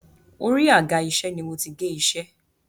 Orí àga-iṣẹ́ ni mo ti gé iṣẹ́.